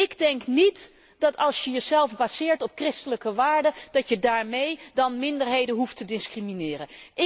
Ik denk niet dat als je jezelf baseert op christelijke waarden, dat je daarmee dan minderheden hoeft te discrimineren.